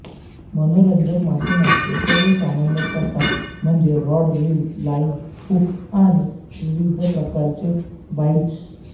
मनोरंजक मासेमारीचे सर्व सामान्य प्रकार म्हणजे रॉड रील लाइन हुक आणि विविध प्रकारचे बाइट्स